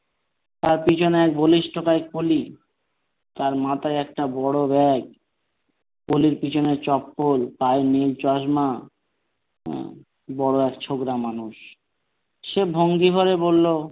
তার পিছনে এক বলিষ্ঠকায় কুলি তার মাথায় একটা বড় bag কলির পিছনে চপ্পল গায়ে নেই চশমা বড় এক ছোকড়া মানুষ সে ভঙ্গি করে বলল,